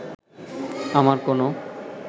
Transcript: আমার কোনো